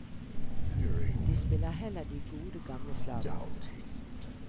De spiller heller de gode, gamle slagerne.